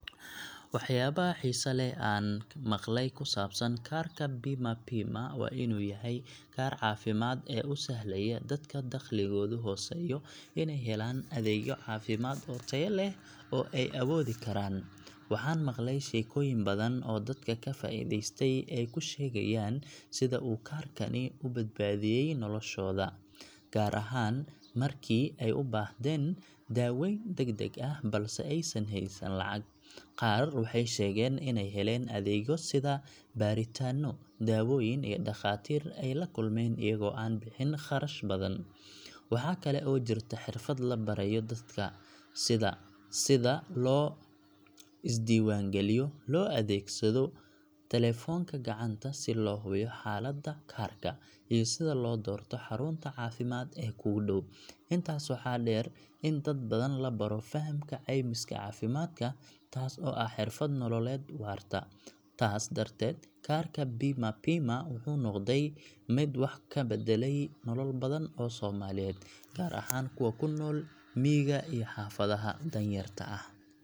Waxyaabaha xiisaha leh ee aan maqlay ku saabsan kaarka BIMA PIMA waa in uu yahay kaarka caafimaad ee u sahlaya dadka dakhligoodu hooseeyo inay helaan adeegyo caafimaad oo tayo leh oo ay awoodi karaan. Waxaan maqlay sheekooyin badan oo dadka ka faa’iideystay ay ku sheegayaan sida uu kaarkani u badbaadiyay noloshooda, gaar ahaan markii ay u baahdeen daaweyn degdeg ah balse aysan haysan lacag. Qaar waxay sheegeen inay heleen adeegyo sida baaritaanno, daawooyin iyo dhakhaatiir ay la kulmeen iyagoo aan bixin kharash badan. Waxa kale oo jirta xirfad la barayo dadka, sida sida loo isdiiwaangeliyo, loo adeegsado taleefanka gacanta si loo hubiyo xaaladaada kaarka, iyo sida loo doorto xarunta caafimaad ee kugu dhow. Intaas waxaa dheer in dad badan la baro fahamka caymiska caafimaadka, taas oo ah xirfad nololeed waarta. Taas darteed, kaarka BIMA PIMA wuxuu noqday mid wax ka beddelay nolol badan oo Soomaaliyeed, gaar ahaan kuwa ku nool miyiga iyo xaafadaha danyarta ah.